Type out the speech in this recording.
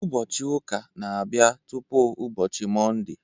Ụbọọchi ụka n'abia tụpụ ụbọchị Mọnde